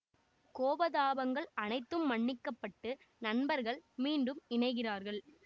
கோபதாபங்கள் அனைத்தும் மன்னிக்கப்பட்டு நண்பர்கள் மீண்டும் இணைகிறார்கள்